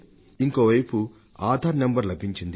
ఇంకొక వైపు ఆధార్ నంబర్ లభించింది